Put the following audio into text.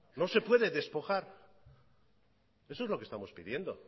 no se puede despojar eso es lo que estamos pidiendo